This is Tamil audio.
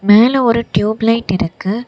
மேல ஒரு டியூபு லைட் இருக்கு.